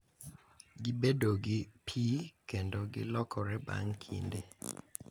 Gibedo gi pi kendo gilokore bang’ kinde.